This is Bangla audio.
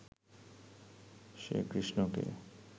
সে কৃষ্ণ কে